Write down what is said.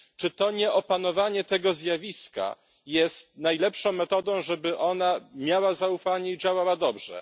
Czy to nie opanowanie tego zjawiska jest najlepszą metodą, żeby ona miała zaufanie i działała dobrze?